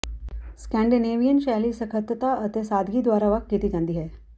Scandinavian ਸ਼ੈਲੀ ਸਖਤਤਾ ਅਤੇ ਸਾਦਗੀ ਦੁਆਰਾ ਵੱਖ ਕੀਤੀ ਜਾਂਦੀ ਹੈ